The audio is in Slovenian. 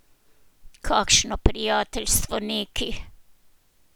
Kakšno prijateljstvo neki!